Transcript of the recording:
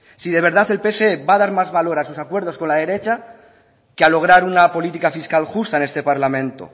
si de verdad el pse va a dar más valor a sus acuerdos con la derecha que a lograr una política fiscal justa en este parlamento